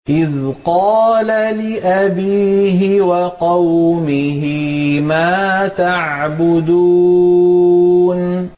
إِذْ قَالَ لِأَبِيهِ وَقَوْمِهِ مَا تَعْبُدُونَ